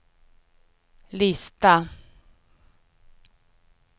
lista